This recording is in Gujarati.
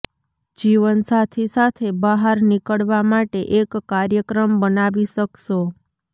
જીવનસાથી સાથે બહાર નીકળવા માટે એક કાર્યક્રમ બનાવી શકશો